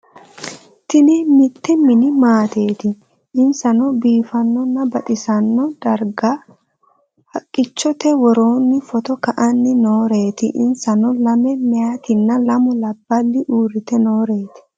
Tini mitte mini maatteti insano biifanona baxxisano darrigga haqichote worronni photo ka'anni nooreti inisanno lame meeyattina lamu labbali uritte nooreti